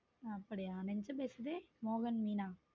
அப்படியா நெஞ்சம் பேசுதே மோகன் மீனா.